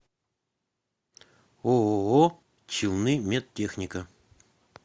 ооо челнымедтехника